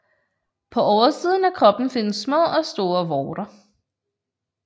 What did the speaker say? På oversiden af kroppen findes små og store vorter